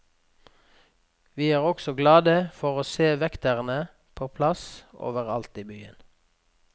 Vi er også glade for å se vektere på plass overalt i byen.